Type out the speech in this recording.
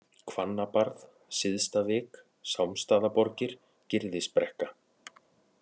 Hvannabarð, Syðstavik, Sámsstaðaborgir, Gyrðisbrekka